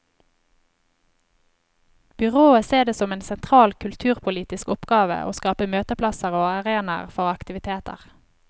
Byrådet ser det som en sentral kulturpolitisk oppgave å skape møteplasser og arenaer for aktiviteter.